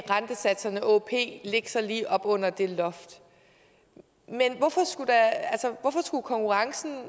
rentesatserne åop lægge sig lige op under det loft men hvorfor skulle konkurrencen